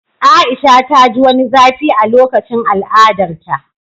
A'isha ta ji wani zafi a lokacin al'adarta